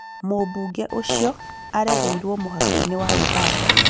mũbunge ũcio aarereirũo mũhaka-inĩ wa Uganda